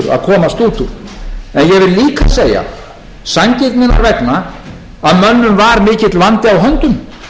vil líka segja sanngirninnar vegna að mönnum var mikill vandi á höndum